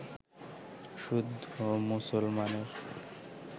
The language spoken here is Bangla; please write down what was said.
শুদ্ধ মুসলমানের